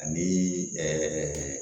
Ani ɛɛ